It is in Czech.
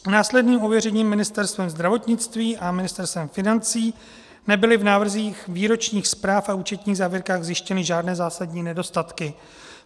Následným ověřením Ministerstvem zdravotnictví a Ministerstvem financí nebyly v návrzích výročních zpráv a účetních závěrkách zjištěny žádné zásadní nedostatky.